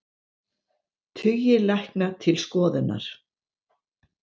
Tugir lækna til skoðunar